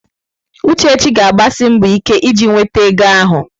Uchechi ga-agbasi mbọ ike iji nweta ego ahụ.